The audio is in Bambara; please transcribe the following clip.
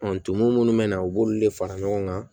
tumu minnu bɛ na u b'olu de fara ɲɔgɔn kan